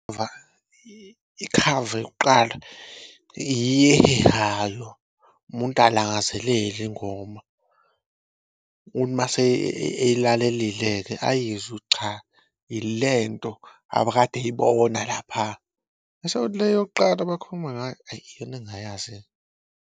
Ikhava yokuqala yiyo ehehayo umuntu alangazelele ingoma kuthi mase eyilalelile-ke ayizwe cha ilento abekade eyibona lapha so, le yokuqala abakhuluma ngayo ayi iyona engayazi-ke.